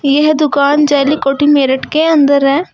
यह दुकान जली कोठी मेरठ के अंदर है।